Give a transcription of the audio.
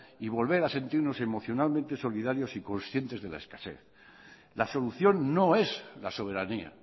y volver a sentirnos emocionalmente solidarios y conscientes de la escasez la solución no es la soberanía